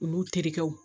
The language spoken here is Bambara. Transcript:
Olu terikɛw